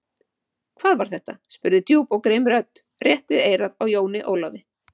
Hvað var þetta spurði djúp og grimm rödd, rétt við eyrað á Jóni Ólafi.